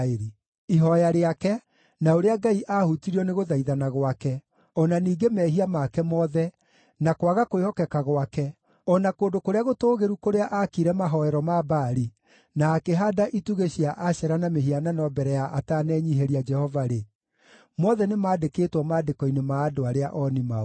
Ihooya rĩake, na ũrĩa Ngai aahutirio nĩ gũthaithana gwake, o na ningĩ mehia make mothe, na kwaga kwĩhokeka gwake, o na kũndũ kũrĩa gũtũũgĩru kũrĩa aakire mahooero ma Baali, na akĩhaanda itugĩ cia Ashera na mĩhianano mbere ya atanenyiihĩria Jehova-rĩ, mothe nĩmandĩkĩtwo maandĩko-inĩ ma andũ arĩa ooni-maũndũ.